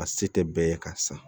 A se tɛ bɛɛ ye ka san